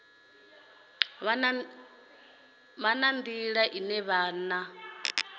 vha na nḓila ine vhana